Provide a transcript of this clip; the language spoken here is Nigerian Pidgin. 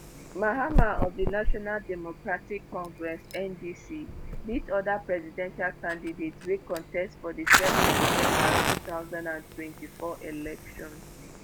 mahama of di national democratic congress (ndc) beat oda presidential candidates wey contest for di 7 december 2024 election.